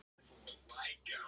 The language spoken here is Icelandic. LÁRUS: Kröfunni hafnað!